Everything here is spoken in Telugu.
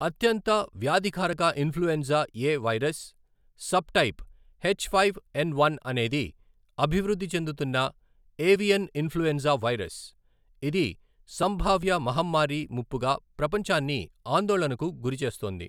అత్యంత వ్యాధికారక influenza A virus subtype H five N one అనేది అభివృద్ధి చెందుతున్న ఏవియన్ ఇన్ఫ్లుఎంజా వైరస్, ఇది సంభావ్య మహమ్మారి ముప్పుగా ప్రపంచాన్ని ఆందోళనకు గురిచేస్తోంది.